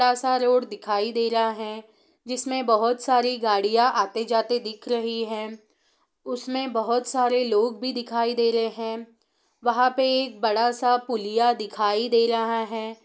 सा रोड़ दिखाई दे रहा है जिसमे बहुत सारी गाड़ियाँ आते जाते दिख रही हैं उसमे बोहोत सारे लोग भी दिखाई दे रहे हैं वहाँ पे एक बड़ा सा पुलिया दिखाई दे रहा है।